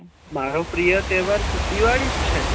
મારો પ્રિય તહેવાર તો દિવાળી જ છે